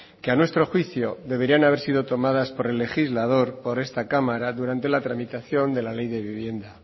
que a nuestro juicio deberían haber sido tomadas por el legislador por esta cámara durante la tramitación de la ley de vivienda